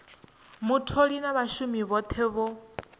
mutholi na vhashumi vhothe vho